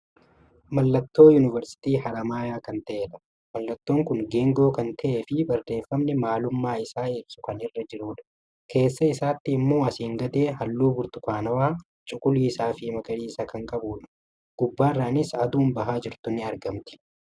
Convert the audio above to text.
Mallattoo yuunivarsiitii haramayaa kan ta'edha. Mallattoon kun geengoo kan ta'eefi barreeffamni maalummaa isaa ibsu kan irra jirudha. Keessa isaatti immoo asiin gadee haalluu burtukaanawaa, cuquliisafi magariisa kan qabudha. Gubbaarranis aduun bahaa jirtu ni argamti.